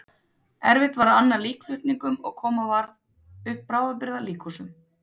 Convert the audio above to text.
Erfitt var að anna líkflutningum og koma varð upp bráðabirgða líkhúsum.